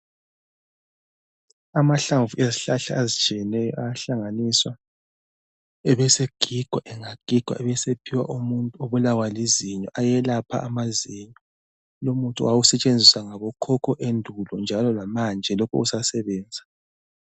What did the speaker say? Amahlamvu ezihlahla ezitshiyeneyo ayahlanganiswa ebesegigwa. Engagigwa ebesephiwa umuntu obulawa lizinyo. Ayelapha amazinyo. Lumuthi wawusetshenziswa ngabokhokho endulo njalo lamanje lokhe usasebenza.